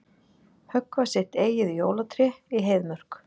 Höggva sitt eigið jólatré í Heiðmörk